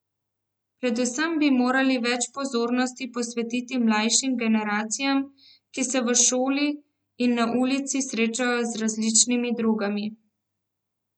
Predvsem bi morali več pozornosti posvetiti mlajšim generacijam, ki se v šoli in na ulici srečajo z različnimi drogami.